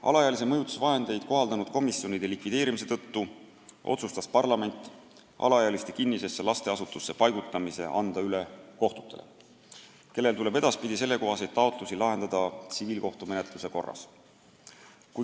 Alaealise mõjutuvahendeid kohaldanud komisjonide likvideerimise tõttu otsustas parlament alaealiste kinnisesse lasteasutusse paigutamise anda üle kohtutele, kellel tuleb edaspidi sellekohaseid taotlusi lahendada tsiviilkohtumenetluse korras.